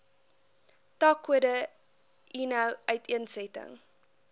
takkode eno uiteensetting